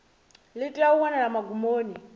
ḽi tea u wanala magumoni